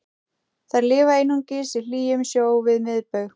þær lifa einungis í hlýjum sjó við miðbaug